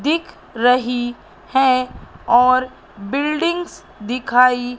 दिख रही हैं और बिल्डिंग्स दिखाई--